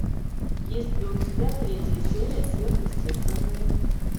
есть ли у тебя третья серия сверхъестественное